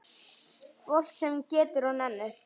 Fólk sem getur og nennir.